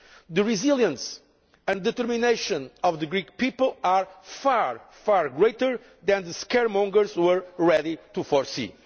The resilience and determination of the Greek people are far, far greater than the scaremongers were ready to foresee.